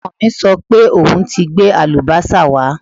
Ọmọ mi sọ pé òun ti gbé àlùbọ́sà wá